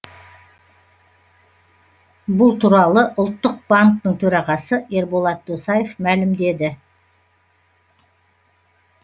бұл туралы ұлттық банктің төрағасы ерболат досаев мәлімдеді